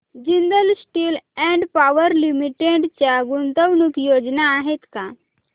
Jindal steel and power limited च्या गुंतवणूक योजना आहेत का